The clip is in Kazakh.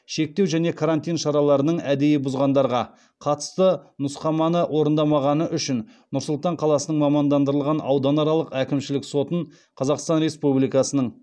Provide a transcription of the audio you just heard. шектеу және карантин шараларының әдейі бұзғандарға қатысты нұсқаманы орындамағаны үшін нұр сұлтан қаласының мамандандырылған ауданаралық әкімшілік сотын қазақстан республикасының